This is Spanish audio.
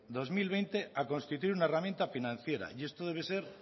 dos mil veinte a constituir una herramienta financiera y esto debe ser